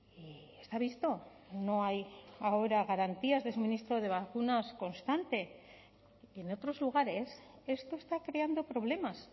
y está visto no hay ahora garantías de suministro de vacunas constante en otros lugares esto está creando problemas